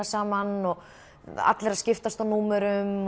saman og allir að skiptast á númerum